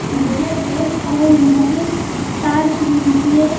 और यहाँ पे टॉर्च भी बिची है।